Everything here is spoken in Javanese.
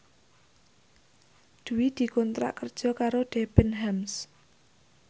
Dwi dikontrak kerja karo Debenhams